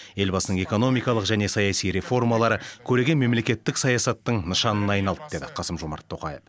елбасының экономикалық және саяси реформалары көреген мемлекеттік саясаттың нышанына айналды деді қасым жомарт тоқаев